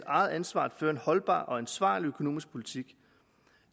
eget ansvar at føre en holdbar og ansvarlig økonomisk politik